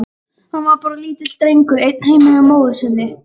Hann var bara lítill drengur, einn heima hjá móður sinni.